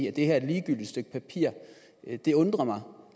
at det her er et ligegyldigt stykke papir det undrer mig